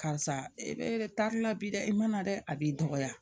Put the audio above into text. Karisa e bɛ taari la bi dɛ i mana dɛ a b'i dɔgɔya